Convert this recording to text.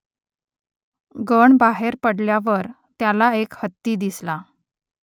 गण बाहेर पडल्यावर त्याला एक हत्ती दिसला